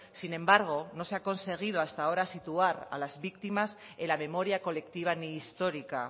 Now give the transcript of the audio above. sin embargo no se ha conseguido hasta ahora situar a las víctimas en la memoria colectiva ni histórica